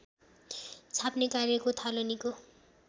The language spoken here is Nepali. छाप्ने कार्यको थालनीको